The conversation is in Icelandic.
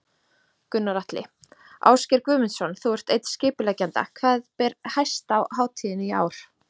Gunnar Atli: Ásgeir Guðmundsson, þú ert einn skipuleggjenda, hvað ber hæst á hátíðinni í ár?